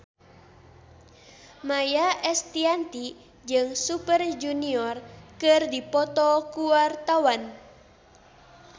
Maia Estianty jeung Super Junior keur dipoto ku wartawan